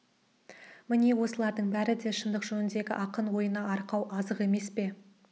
міне осылардың бәрі де шыңдық жөніндегі ақын ойына арқау азық емес пе